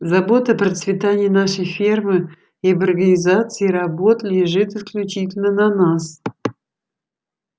забота о процветании нашей фермы и об организации работ лежит исключительно на нас